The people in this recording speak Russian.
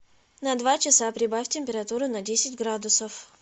на два часа прибавь температуру на десять градусов